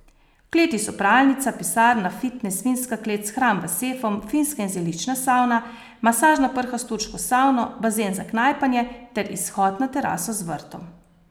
V kleti so pralnica, pisarna, fitnes, vinska klet, shramba s sefom, finska in zeliščna savna, masažna prha s turško savno, bazen za knajpanje ter izhod na teraso z vrtom.